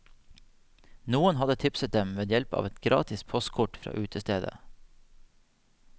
Noen hadde tipset dem ved hjelp av et gratis postkort fra utestedet.